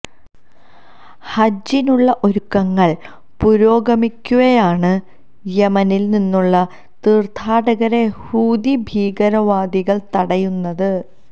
ഹജ്ജിനുള്ള ഒരുക്കങ്ങള് പുരോഗമിക്കവേയാണ് യമനില് നിന്നുള്ള തീര്ഥാടകരെ ഹൂതി ഭീകരവാദികള് തടയുന്നത്